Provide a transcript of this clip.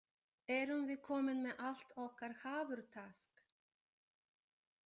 Erum við komin með allt okkar hafurtask?